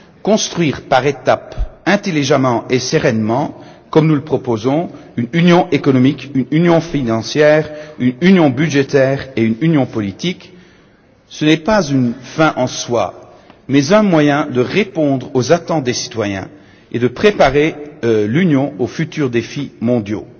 Construire intelligemment et sereinement par étapes, comme nous le proposons, une union économique, une union financière, une union budgétaire et une union politique, ce n'est pas une fin en soi, mais un moyen de répondre aux attentes des citoyens et de préparer l'Union aux futurs défis mondiaux.